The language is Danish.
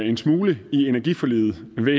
en smule i energiforliget ved